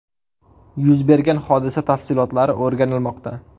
Yuz bergan hodisa tafsilotlari o‘rganilmoqda.